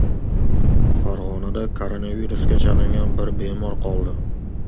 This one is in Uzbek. Farg‘onada koronavirusga chalingan bir bemor qoldi.